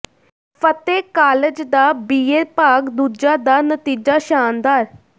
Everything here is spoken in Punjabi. ਫ਼ਤਿਹ ਕਾਲਜ ਦਾ ਬੀਏ ਭਾਗ ਦੂਜਾ ਦਾ ਨਤੀਜਾ ਸ਼ਾਨਦਾਰ